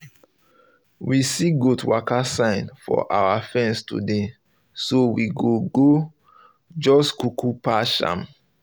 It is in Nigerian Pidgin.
we see goat waka sign for our fence today so we go go just kuku patch am